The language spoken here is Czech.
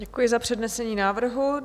Děkuji za přednesení návrhu.